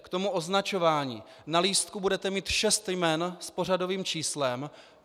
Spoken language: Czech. K tomu označování: Na lístku budete mít šest jmen s pořadovým číslem.